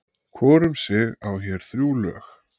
Hvor um sig á hér þrjú lög.